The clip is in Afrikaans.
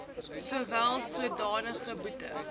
sowel sodanige boete